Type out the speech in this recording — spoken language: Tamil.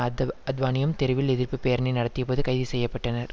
அத் அத்வானியும் தெருவில் எதிர்ப்புப்பேரணி நடத்தியபோது கைது செய்ய பட்டனர்